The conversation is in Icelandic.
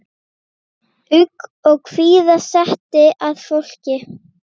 Ugg og kvíða setti að fólki.